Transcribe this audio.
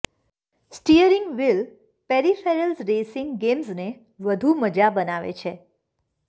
steering wheel peripherals racing ગેમ્સને વધુ મજા બનાવે છે